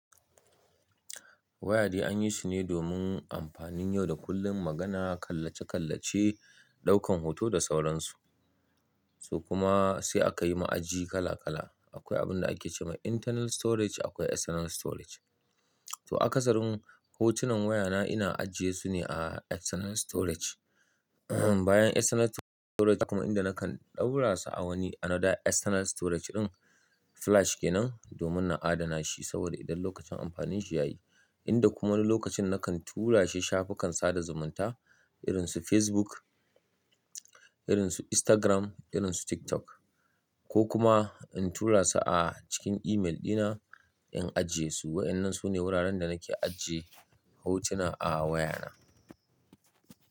Wayadi an yi shi ne domin amfanin yau da kullun, magana, kallace-kallace, ɗaukan hoto da sauransu. Su kuma sai aka yi ma aji kala-kala. Akwai abin da ake ce ma internal storage akwai external storage. To akasarin hotunan wayana ina ajiye su ne a external storage. Bayan external storage kuma inda nakan ɗaura su a wani anoda external storage ɗin flash ke nan domin na adana shi saboda idan lokacin amfanin shi ya yi, inda kuma lokacin nakan tura shi shafukan sada zumunta irin su Facebook, irin su Instagram, irin su TikTok ko kuma in tura su a cikin email dina in ajiye su. Waɗannan su ne wuraren da nake ajiye hotuna a wayana.